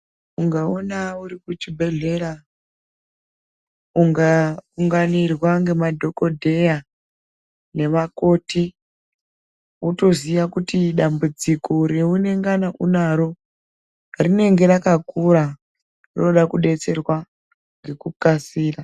Ungaona uri kuchibhedhlera unga unganirwa ngemadhogodheya nevakoti. Votoziye kuti dambudziko reungana unaro rinenge rakakura roda kudetserwa ngekukasira.